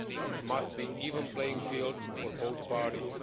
There must be a level playing field for both parties.